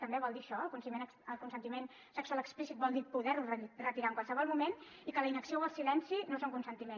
també vol dir això el consentiment sexual explícit vol dir poder ho retirar en qualsevol moment i que la inacció o el silenci no són consentiment